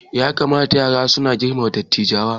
Ya kamata yara suna girmama dattawa